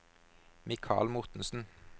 Mikal Mortensen